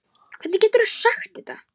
Hvernig geturðu sagt þetta?